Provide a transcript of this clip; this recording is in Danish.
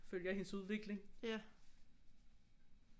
Følger hendes udvikling